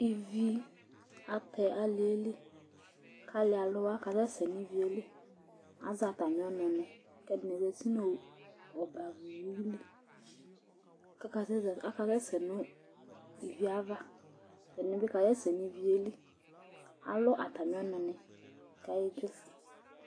Íví atɛ alìɛ li kʋ alí aluwa kasɛsɛ ŋu Ívìe li Azɛ atami ɔnu ni kʋ ɛɖìní bi zɛti ŋu ɔbɛ ava yeli kʋ akasɛsɛ ŋu ívì yɛ ava Ɛɖìní bi kasɛsɛ ŋu Ívìe li Alu atami ɔnu ni kʋ ayedzofʋe